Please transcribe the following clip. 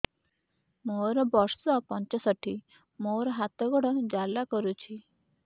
ମୋର ବର୍ଷ ପଞ୍ଚଷଠି ମୋର ହାତ ଗୋଡ଼ ଜାଲା କରୁଛି